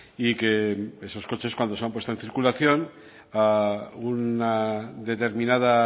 y que esos coches cuando se han puesto en circulación a una determinada